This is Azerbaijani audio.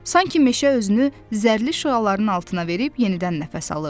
Sanki meşə özünü zərrli şüaların altına verib yenidən nəfəs alırdı.